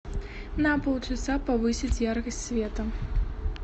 на полчаса повысить яркость света